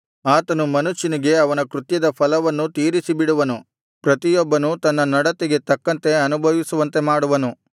ಆತನು ಮನುಷ್ಯನಿಗೆ ಅವನ ಕೃತ್ಯದ ಫಲವನ್ನು ತೀರಿಸಿಬಿಡುವನು ಪ್ರತಿಯೊಬ್ಬನು ತನ್ನ ನಡತೆಗೆ ತಕ್ಕಂತೆ ಅನುಭವಿಸುವಂತೆ ಮಾಡುವನು